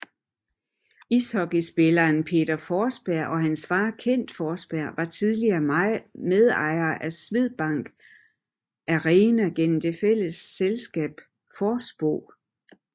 Ishockeyspilleren Peter Forsberg og hans far Kent Forsberg var tidligere medejere af Swedbank Arena gennem det fælles selskab Forspro